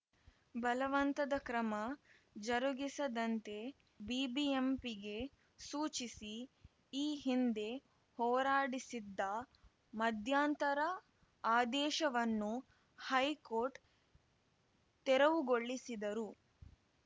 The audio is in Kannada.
ಬಲವಂತದ ಕ್ರಮ ಜರುಗಿಸದಂತೆ ಬಿಬಿಎಂಪಿಗೆ ಸೂಚಿಸಿ ಈ ಹಿಂದೆ ಹೊರಾಡಿಸಿದ್ದ ಮಧ್ಯಂತರ ಆದೇಶವನ್ನು ಹೈಕೋರ್ಟ್‌ ತೆರವುಗೊಳಿಸಿದರು